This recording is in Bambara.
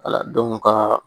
Wala dɔnku kaa